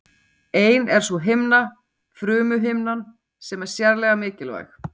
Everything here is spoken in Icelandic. Ein er sú himna, frumuhimnan, sem er sérlega mikilvæg.